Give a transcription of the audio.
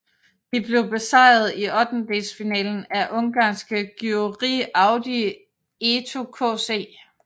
De blev besejret i ottendedelsfinalen af ungarske Győri Audi ETO KC